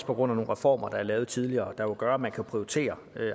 på grund af nogle reformer der er lavet tidligere og som jo gør at man kunne prioritere